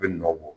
U bɛ nɔ bɔ